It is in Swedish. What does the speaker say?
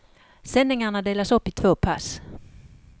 Sändningarna delas upp i två pass.